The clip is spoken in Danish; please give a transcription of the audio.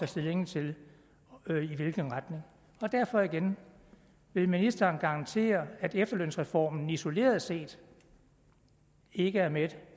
stilling til i hvilken retning derfor igen vil ministeren garantere at efterlønsreformen isoleret set ikke er med